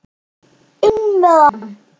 INN MEÐ HANN!